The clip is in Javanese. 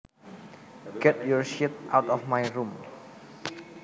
Get your shit out of my room